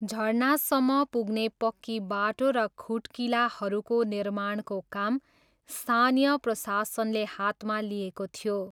झरनासम्म पुग्ने पक्की बाटो र खुट्किलाहरूको निर्माणको काम स्थानीय प्रशासनले हातमा लिएको थियो।